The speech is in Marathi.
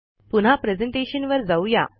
पुन्हा प्रेझेंटेशनवर जाऊ या